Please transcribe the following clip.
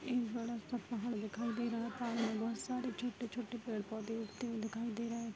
एक बडा-सा पहाड़ दिखाई दे रहा पहाड़ में बोहोत सारे छोटे-छोटे पेड़-पौधे उगते हुए दिखाई दे रहे।